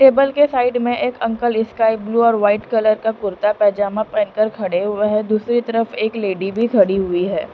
Table के side में एक अंकल स्काई ब्लू और वाइट कलर का कुर्ता पैजामा पहनकर खड़े हुए है दूसरे तरफ एक लेडी भी खड़ी हुई है।